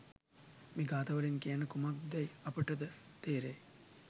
මේ ගාථාවලින් කියන්නේ කුමක්දැයි අපට ද තේරෙයි.